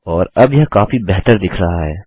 और अब यह काफी बेहतर दिख रहा है